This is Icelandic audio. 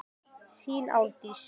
Þín Árdís.